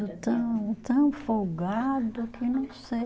Tão, tão folgado que não sei.